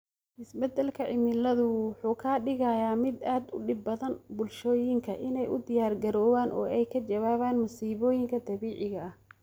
Isbeddelka cimiladu wuxuu ka dhigayaa mid aad u dhib badan bulshooyinka inay u diyaar garoobaan oo ay ka jawaabaan masiibooyinka dabiiciga ah.